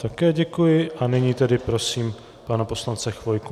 Také děkuji a nyní tedy prosím pana poslance Chvojku.